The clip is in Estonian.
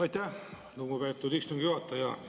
Aitäh, lugupeetud istungi juhataja!